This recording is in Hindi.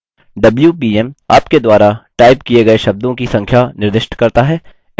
wpm – आपके द्वारा टाइप किए गए शब्दों की संख्या निर्दिष्ट करता है